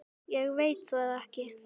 Ég veit það ekki